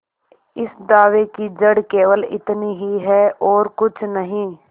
इस दावे की जड़ केवल इतनी ही है और कुछ नहीं